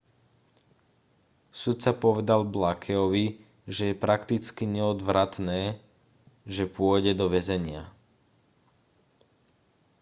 sudca povedal blakeovi že je prakticky neodvratné že pôjde do väzenia